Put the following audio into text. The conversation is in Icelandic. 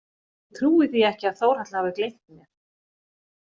Ég trúi því ekki að Þórhalla hafi gleymt mér.